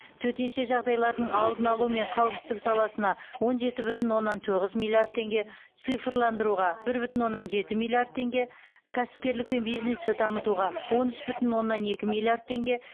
төтенше жағдайлардың алдын алу мен қауіпсіздік саласына он жеті бүтін оннан тоғыз миллиард теңге цифрландыруға бір бүтін оннан жеті миллиард теңге кәсіпкерлік пен бизнесті дамытуға он үш бүтін оннан екі миллиард теңге